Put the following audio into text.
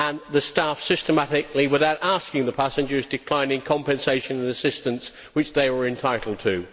The staff systematically, without asking the passengers, declined the compensation and assistance which they were entitled to.